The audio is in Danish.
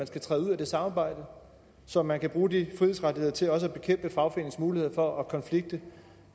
skal træde ud af det samarbejde så man kan bruge de frihedsrettigheder til også at bekæmpe fagforeningers mulighed for at konflikte